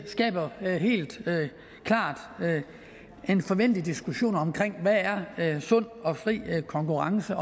skaber helt klart en forventelig diskussion om hvad sund og fri konkurrence